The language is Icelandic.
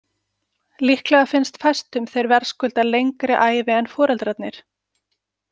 Líklega finnst fæstum þeir verðskulda lengri ævi en foreldrarnir.